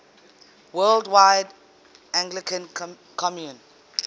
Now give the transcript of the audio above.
worldwide anglican communion